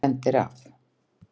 Þú brenndir af!